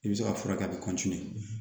I bɛ se ka furakɛ a bɛ